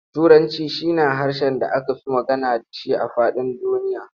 Turanci shi na harshen da aka fi magana da shi a faɗin duniya.